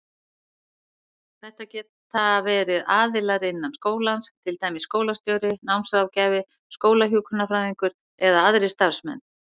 Þetta geta verið aðilar innan skólans, til dæmis skólastjóri, námsráðgjafi, skólahjúkrunarfræðingur eða aðrir starfsmenn.